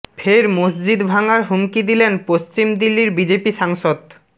ফের মসজিদ ভাঙার হুমকি দিলেন পশ্চিম দিল্লির বিজেপি সাংসদ